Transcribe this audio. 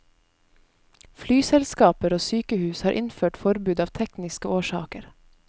Flyselskaper og sykehus har innført forbud av tekniske årsaker.